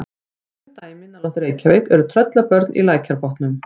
kunn dæmi nálægt reykjavík eru tröllabörn í lækjarbotnum